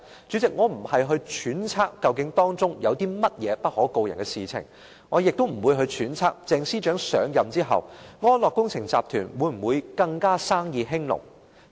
主席，我並非揣測究竟當中有甚麼不可告人的事情，我亦不會揣測鄭司長上任後，安樂工程集團會否更生意興隆。